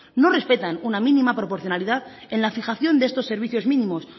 no respetan una mínima proporcionalidad en la fijación de estos servicios mínimos